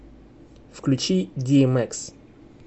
включи диэмэкс